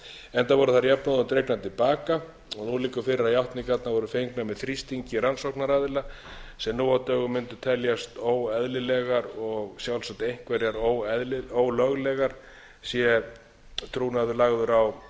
enda voru þær jafnóðum dregnar til baka og nú liggur fyrir að játningarnar voru fengnar með þrýstingi rannsóknaraðila sem nú á dögum mundi teljast óeðlilegar og sjálfsagt einhverjar ólöglegur sé trúnaður lagður